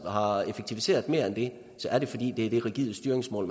har effektiviseret mere end det er det fordi det er det rigide styringsmål